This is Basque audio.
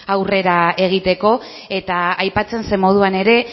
aurrera egiteko eta aipatzen zen moduan ere